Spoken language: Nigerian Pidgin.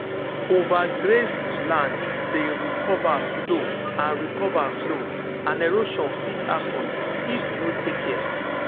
overgrazed land dey recover slow and recover slow and erosion fit happen if you no take care.